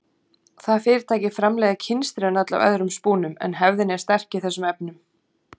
Það fyrirtæki framleiðir kynstrin öll af öðrum spúnum en hefðin er sterk í þessum efnum.